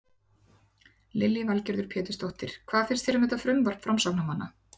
Lillý Valgerður Pétursdóttir: Hvað finnst þér um þetta frumvarp framsóknarmanna?